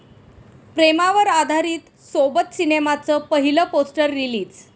प्रेमावर आधारित 'सोबत' सिनेमाचं पहिलं पोस्टर रिलीज